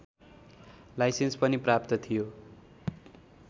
licence पनि प्राप्त थियो